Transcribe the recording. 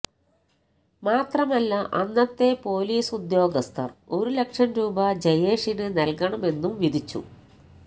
മാത്രമല്ല അന്നത്തെ പൊലീസുദ്യോഗസ്ഥര് ഒരു ലക്ഷം രൂപ ജയേഷിന് നല്കണമെന്നും വിധിച്ചു